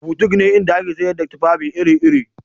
Butik ne inda ake sayar da tufafi iri-iri